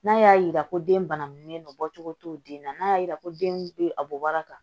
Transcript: N'a y'a yira ko den bangen don bɔcogo t'o den na n'a y'a yira ko den bɛ a bɔ a kan